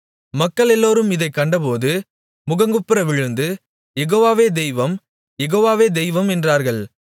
மக்களெல்லோரும் இதைக் கண்டபோது முகங்குப்புற விழுந்து யெகோவாவே தெய்வம் யெகோவாவே தெய்வம் என்றார்கள்